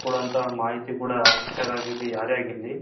ಯಾಕಂದ್ರೆ ನಮ್ಗ್ ಕೊಡೊ ಮಾಹಿತಿ ಕೂಡ ಶಿಕ್ಷಕ ಆಗಿರ್ಲಿ ಯಾರೇ ಆಗಿರ್ಲಿ